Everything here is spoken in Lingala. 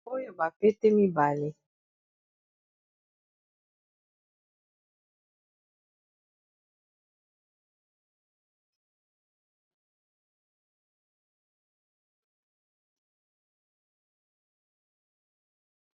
Oyo ba pete mibale.